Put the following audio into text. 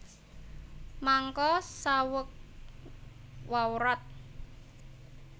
Mangka saweg wawrat